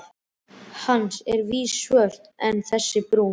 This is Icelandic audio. Hans eru að vísu svört en þessi brún.